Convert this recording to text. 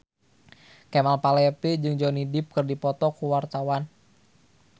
Kemal Palevi jeung Johnny Depp keur dipoto ku wartawan